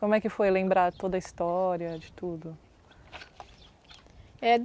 Como é que foi lembrar toda a história de tudo?